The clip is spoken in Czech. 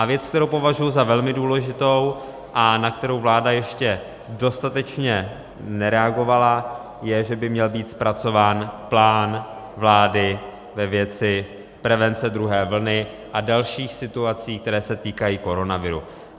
A věc, kterou považuji za velmi důležitou a na kterou vláda ještě dostatečně nereagovala, je, že by měl být zpracován plán vlády ve věci prevence druhé vlny a dalších situací, které se týkají koronaviru.